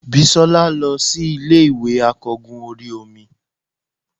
bisola losí Ilé ìwè akogún orí omí